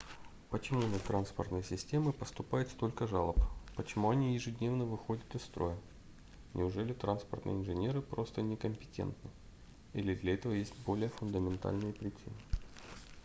почему на транспортные системы поступает столько жалоб почему они ежедневно выходят из строя неужели транспортные инженеры просто некомпетентны или для этого есть более фундаментальные причины